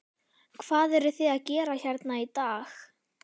Hvað eruð þið að gera hérna í dag?